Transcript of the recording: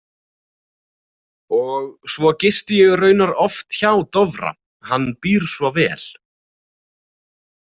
Og svo gisti ég raunar oft hjá Dofra, hann býr svo vel.